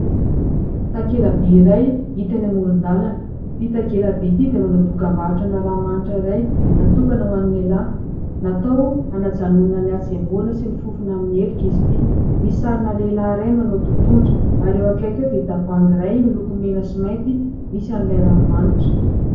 Takela-by iray hita eny amoron-dalana. Ity takela-by ity dia manao dokam-barotrana ranomanitra iray natokana ho any lehilahy. Natao hanajanonana ny hatsemboana sy ny fofona amin'ny helika izy ity misy sarina lehilahy iray manao totohondry ary eo ankaiky ao dia tavoahangy iray miloko mena sy mainty misy an'ilay ranomanitra.